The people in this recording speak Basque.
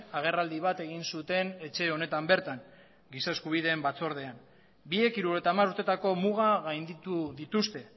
agerraldi bat egin zuten etxe honetan bertan gisa eskubideen batzordean biek hirurogeita hamar urteetako muga gainditu dituzte